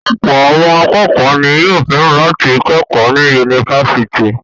Ọ̀pọ̀ àwọn akẹ́kọ̀ọ́ ni yóò fẹ́ràn láti kẹ́kọ̀ọ́ ní yunifásítì.